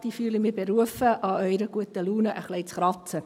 Ich fühle mich dazu berufen, an Ihrer guten Laune etwas zu kratzen.